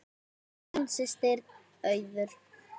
Þín systir, Auður.